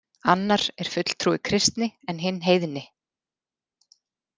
Annar er fulltrúi kristni en hinn heiðni.